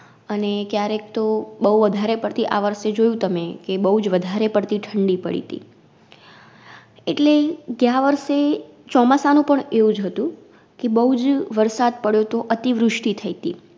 અને ક્યારેક તો બઉ વધારે પડતી આવર્ષે જોયું તમે કે, બઉજ વધારે પડતી ઠંડી પડીતી. એટલે ગ્યાં વરસે ચોમાસા નું પણ એવુજ હતું કે બઉજ વરસાદ પડયોતો અતિવૃષ્ટિ થઈતી.